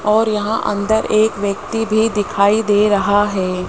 और यहां अंदर एक व्यक्ति भी दिखाई दे रहा है।